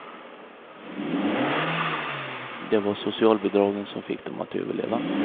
Det var socialbidragen som fick dem att överleva.